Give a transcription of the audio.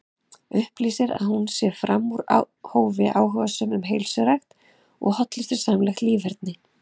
Upplýsir að hún sé fram úr hófi áhugasöm um heilsurækt og hollustusamlegt líferni.